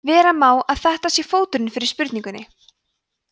vera má að þetta sé fóturinn fyrir spurningunni